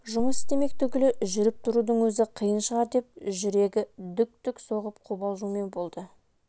жұмыс істемек түгілі жүріп-тұрудың өзі қиын шығар деп жүрегі дүк-дүк соғып қобалжумен болды